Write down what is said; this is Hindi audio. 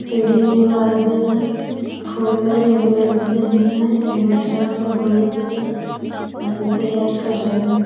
सीढ़ी हई लाल जइसन फूल हई एगो ल जननी हई एगो ड्राम हई ब्लू जइसा अभी तैयार कर रहले।